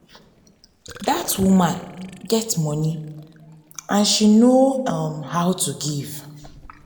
dat woman um get money and she no um how to give